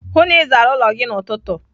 Hụụ na Ị zara ụlọ gị n'ụtụtụ!